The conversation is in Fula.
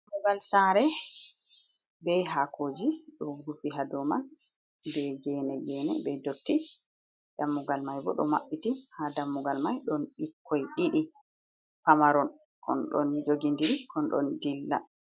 Ɗammugal sare ɓe hakoji ɗo rufi haɗoman ɓe gene gene, ɓe ɗotti ɗammugal mai ɓo ɗo maɓɓiti ha ɗammugal mai. ɗon ɓikkoi ɗiɗi pamaron kon ɗon jogiɗiri kon ɗon ɗilla.